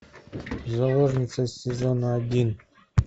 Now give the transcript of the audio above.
заложница сезон один